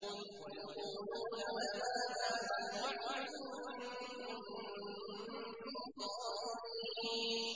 وَيَقُولُونَ مَتَىٰ هَٰذَا الْوَعْدُ إِن كُنتُمْ صَادِقِينَ